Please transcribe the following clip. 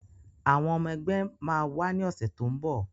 Àwọn ọmọ ẹgbẹ́ máa wá ní ọ̀sẹ̀ tó ń bọ̀